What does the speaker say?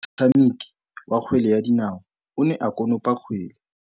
Motshameki wa kgwele ya dinaô o ne a konopa kgwele.